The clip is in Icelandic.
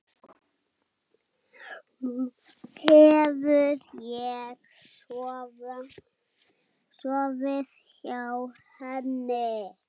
Hef ég sofið hjá henni?